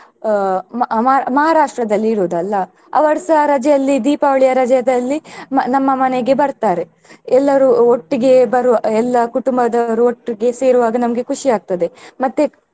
ಅಹ್ ಮ~ ಮ~ ಮಹಾರಾಷ್ಟ್ರದಲ್ಲಿ ಇರುದಲ್ಲಾ ಅವರುಸ ರಜೆಯಲ್ಲಿ ದೀಪಾವಳಿಯ ರಜೆದಲ್ಲಿ ಮ್~ ನಮ್ಮ ಮನೆಗೆ ಬರ್ತಾರೆ ಎಲ್ಲರೂ ಒಟ್ಟಿಗೆ ಬರುವ ಎಲ್ಲಾ ಕುಟುಂಬದವರು ಒಟ್ಟಿಗೆ ಸೇರುವಾಗ ನಮ್ಗೆ ಖುಷಿ ಆಗ್ತದೆ ಮತ್ತೆ.